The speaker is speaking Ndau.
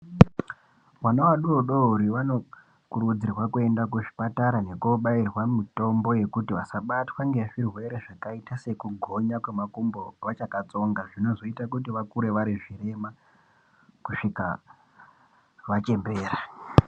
Vana vadodori vanokurudzirwa kuenda kuzvipatara kunobairwa mitombo yekuti vasabatwe ngezvirwere zvakaita sekugonya kwemakumbo vachakatsonga zvinozoita kuti vakure varizvirema kusvika vachembera .